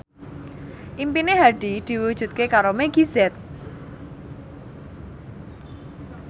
impine Hadi diwujudke karo Meggie Z